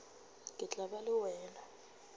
ke tla ba le wena